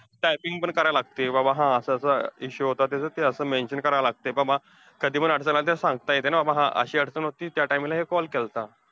Typing पण करायला लागतीये, बाबा हा असं असं अं issue होता. त्याच ते असं mention करायला लागतंय बाबा कधीपण अडचण आली, सांगता येतंय ना बाबा हा अशी अडचण होती, त्या timing ला call केलंता.